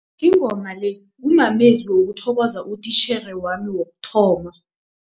Ingoma le kumamezwi wokuthokoza utitjhere wami wokuthoma.